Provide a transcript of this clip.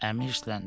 Əmi hirsləndi.